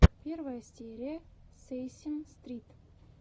первая серия сесейм стрит